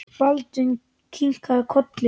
Baldvin kinkaði kolli.